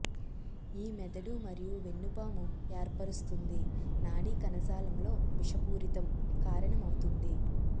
ఈ మెదడు మరియు వెన్నుపాము ఏర్పరుస్తుంది నాడీ కణజాలం లో విషపూరితం కారణమవుతుంది